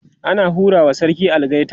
ana hura wa sarki algaita